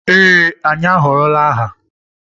Ee anyị ahọrọla aha.